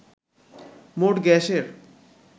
মোট গ্যাসের